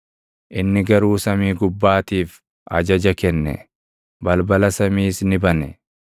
Inni garuu samii gubbaatiif ajaja kenne; balbala samiis ni bane;